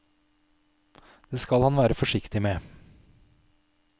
Det skal han være forsiktig med.